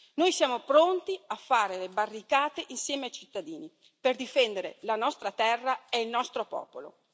Noi siamo pronti a fare le barricate insieme ai cittadini per difendere la nostra terra e il nostro popolo.